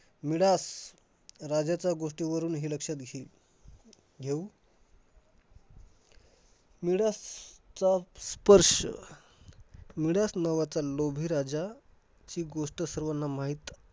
Midas राजाचा गोष्टीवरून हे लक्षात घे~ घेऊ मिडासचा स्पर्श मिडास नावाचा लोभी राजा ची गोष्ट सर्वांना माहित